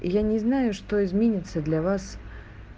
я не знаю что изменится для вас